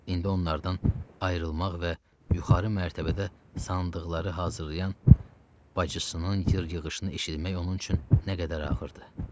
İndi onlardan ayrılmaq və yuxarı mərtəbədə sandıqları hazırlayan bacısının yır-yığışını eşitmək onun üçün nə qədər ağırdı.